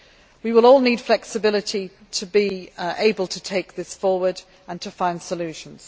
We will all need flexibility to be able to take this forward and to find solutions.